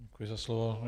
Děkuji za slovo.